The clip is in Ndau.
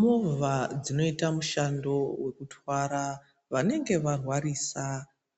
Movha dzinoita mushando wekutwara vanenge varwarisa,